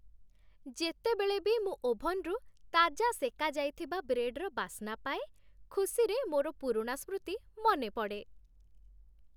ଯେତେବେଳେ ବି ମୁଁ ଓଭନ୍‌ରୁ ତାଜା ସେକାଯାଇଥିବା ବ୍ରେଡ୍‌ର ବାସ୍ନା ପାଏ, ଖୁସିରେ ମୋର ପୁରୁଣା ସ୍ମୃତି ମନେପଡ଼େ